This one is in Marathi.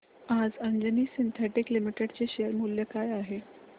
आज अंजनी सिन्थेटिक्स लिमिटेड चे शेअर मूल्य काय आहे